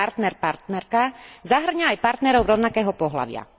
partner partnerka zahŕňa aj partnerov rovnakého pohlavia.